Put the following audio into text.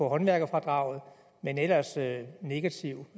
af håndværkerfradraget men ellers er der negativ